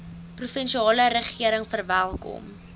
provinsiale regering verwelkom